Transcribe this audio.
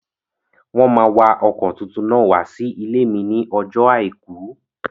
Wọ́n máa wa ọkọ̀ tuntun náà wá sí ilé mi ní ọjọ́ àìkú